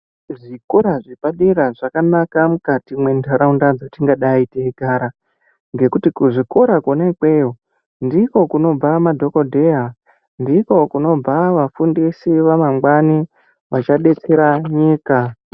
Zvikora zvepadera zvakanaka mukati mwentaraunda dzatingadai teigara. Ngekuti kuzvikora kona ikweyo teigara ndiko kunobva madhokodheya ndiko kuno vafundisi vamangwani vachadetsera nyika.